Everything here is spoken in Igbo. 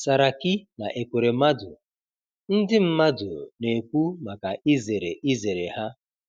Saraki na Ekweremadu: Ndị mmadụ na-ekwu maka izere izere ha.